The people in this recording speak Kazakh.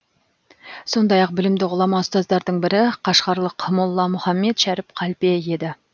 сондай ақ білімді ғұлама ұстаздардың бірі қашғарлық молла мұхаммед шәріп қалпе еді